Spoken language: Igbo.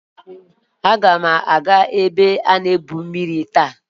Agam aga ebe igwu mmiri taa.